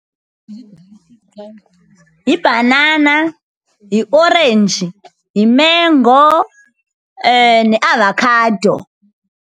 Yibhanana, yiorenji, yimengo neavakhado.